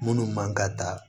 Minnu man ka taa